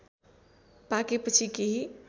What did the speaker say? पाकेपछि केही